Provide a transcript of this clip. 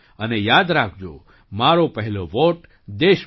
અને યાદ રાખજો મારો પહેલો વૉટ દેશ માટે